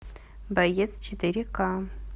боец четыре ка